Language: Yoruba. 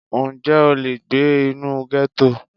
Ǹjẹ́ o lè gbé inú gẹ́tò?